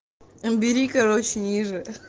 бери короче ниже